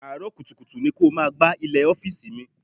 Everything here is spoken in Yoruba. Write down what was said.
Àárọ̀ kùtùkùtù ni kó o máa gbá ilẹ̀ ọ́fíìsì mi.